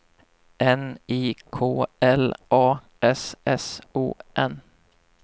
N I K L A S S O N